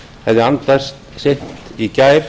hefði andast seint í gær